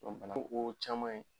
o caman ye.